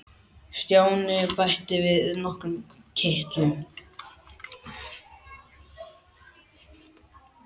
Stjáni bætti við nokkrum kitlum.